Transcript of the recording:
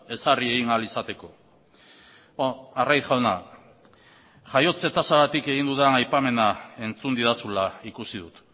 ezarri egin ahal izateko arraiz jauna jaiotze tasagatik egin dudan aipamena entzun didazula ikusi dut